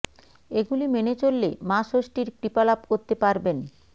এগুলি মেনে চললে মা ষষ্ঠীর কৃপা লাভ করতে পারবেন